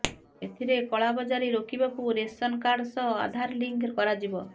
ଏଥିରେ କଳାବଜାରୀ ରୋକିବାକୁ ରେସନ କାର୍ଡ ସହ ଆଧାର ଲିଙ୍କ୍ କରାଯିବ